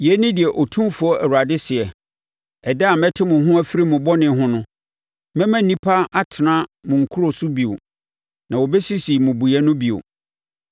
“ ‘Yei ne deɛ Otumfoɔ Awurade seɛ: Ɛda a mɛte mo ho afiri mo bɔne ho no, mɛma nnipa atena mo nkuro so bio na wɔbɛsisi mmubuiɛ no bio.